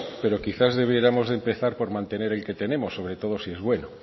pero quizás debiéramos de empezar por mantener el que tenemos sobre todo si es bueno